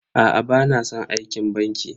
Aa bana san aikin banki.